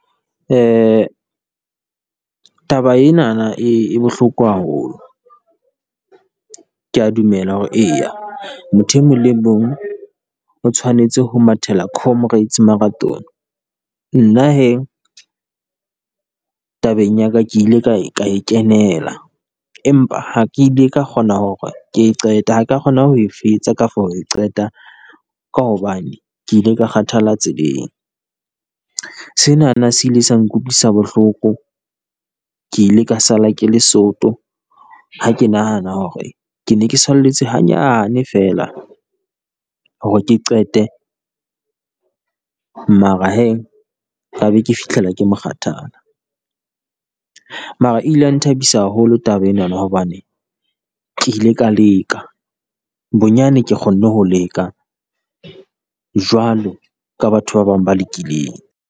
Taba enana e e bohloko haholo, kea dumela hore eya motho e mong le mong o tshwanetse ho mathela Comrades Marathon. Nna he, tabeng ya ka, ke ile ka e ka e kenela, empa ha ke ile ka kgona hore ke e qete ha ka kgona ho e fetsa kafo ho e qeta, ka hobane ke ile ka kgathala tseleng. Senana se ile sa nkutlwisa bohloko, ke ile ka sala ke le soto ha ke nahana hore ke ne ke salletswe hanyane feela hore ke qete mara he ka be ke fihlela ke mokgathala. Mara ile ya nthabisa haholo taba enana hobane ke ile ka leka, bonyane ke kgonne ho leka jwalo ka batho ba bang ba lekileng.